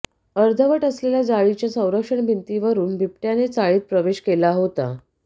अर्धवट असलेल्या जाळीच्या संरक्षण भिंतीवरून बिबट्याने चाळीत प्रवेश केला होता